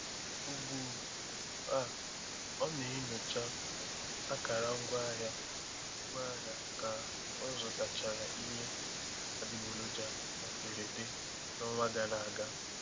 Ugbu um a ọ na-enyocha um akara ngwaahịa ngwaahịa ka ọ zụtachara ihe adịgboroja na mberede n'ọnwa gara aga.